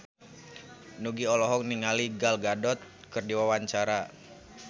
Nugie olohok ningali Gal Gadot keur diwawancara